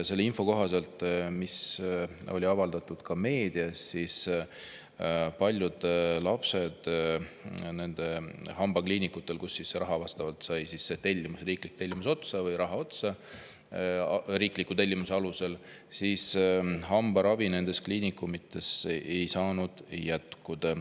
Selle info kohaselt, mis avaldati ka meedias, paljudel lastel riikliku tellimuse alusel hambaravi nendes hambakliinikutes ei saanud jätkuda, kuna nendel kliinikutel sai raha või see riiklik tellimus otsa.